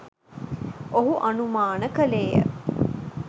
ඔහු අනුමාන කළේය.